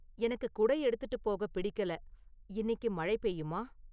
எனக்கு குடை எடுத்துட்டு போக பிடிக்கல இன்னிக்கு மழை பெய்யுமா